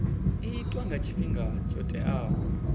itwa nga tshifhinga tsho teaho